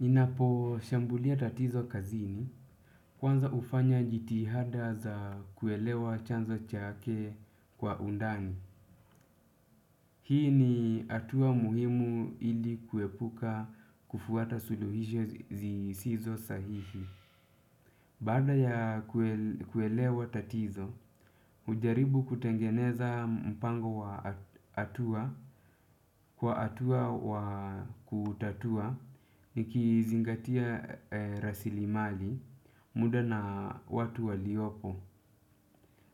Ninaposhambulia tatizo kazini, kwanza hufanya jitihada za kuelewa chanzo chake kwa undani. Hii ni atua muhimu ili kuepuka kufuata suluhisho zi zisizo sahihi. Baada ya kuel kuelewa tatizo, ujaribu kutengeneza mpango wa a atua. Kwa atua wa kuutatua nikiizingatia e rasilimali muda na watu waliopo.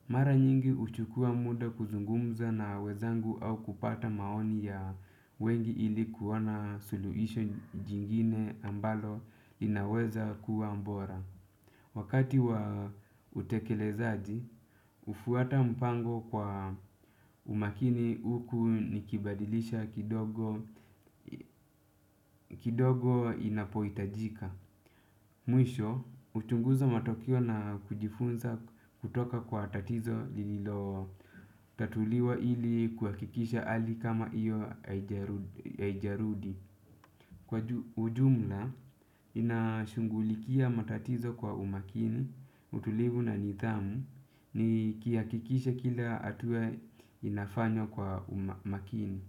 Mara nyingi uchukua muda kuzungumza na wenzangu au kupata maoni ya wengi ili kuona suluhisho jingine ambalo inaweza kuwa bora. Wakati wa utekelezaji, ufuata mpango kwa umakini huku nikibadilisha kidogo kidogo inapoitajika. Mwisho, uchunguza matokeo na kujifunza kutoka kwa tatizo lililotatuliwa ili kuhakikisha hali kama iyo aijarudi aijarudi. Kwa ju ujumla, inashungulikia matatizo kwa umakini, utulivu na nidhamu, nikiakikisha kila atua inafanywa kwa uma makini.